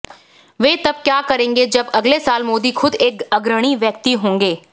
वे तब क्या करेंगे जब अगले साल मोदी खुद एक अग्रणी व्यक्ति होंगे